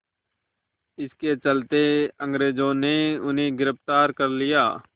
इसके चलते अंग्रेज़ों ने उन्हें गिरफ़्तार कर लिया